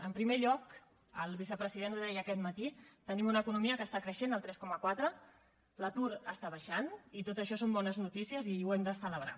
en primer el vicepresident ho deia aquest matí tenim una economia que està creixent el tres coma quatre l’atur està baixant i tot això són bones notícies i ho hem de celebrar